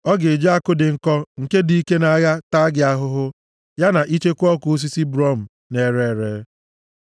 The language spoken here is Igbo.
Ọ ga-eji àkụ dị nkọ nke dike nʼagha taa gị ahụhụ, ya na icheku ọkụ osisi brum na-ere ere.